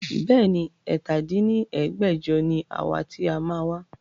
Bẹ́ẹ̀ni, ẹ̀ta dín ní ẹgbẹ́jọ ni àwa ti a máa wá